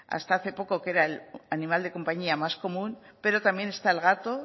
hasta hace poco que era el animal de compañía más común pero también está el gato